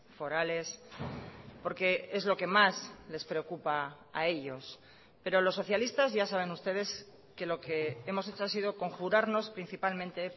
forales porque es lo que más les preocupa a ellos pero los socialistas ya saben ustedes que lo que hemos hecho ha sido conjurarnos principalmente